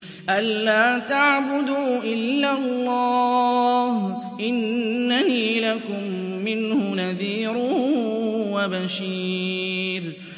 أَلَّا تَعْبُدُوا إِلَّا اللَّهَ ۚ إِنَّنِي لَكُم مِّنْهُ نَذِيرٌ وَبَشِيرٌ